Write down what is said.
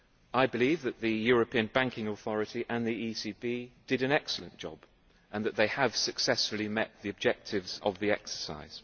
I believe that the European Banking Authority and the ECB did an excellent job and that they have successfully met the objectives of the exercise.